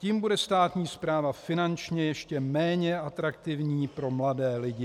Tím bude státní správa finančně ještě méně atraktivní pro mladé lidi.